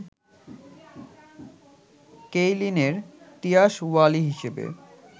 কেইলিনের তিয়াসওয়ালি হিসেবে